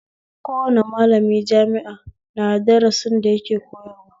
Kowane malami jami'a na da darasin da yake koyarwa